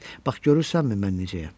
Bax görürsənmi mən necəyəm?